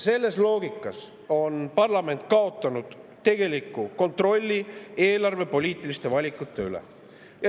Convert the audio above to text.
Selles loogikas on parlament kaotanud tegeliku kontrolli eelarvepoliitiliste valikute üle.